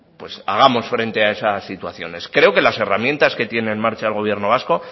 pues hagamos frente a esas situaciones creo que las herramientas que tiene en marcha el gobierno vasco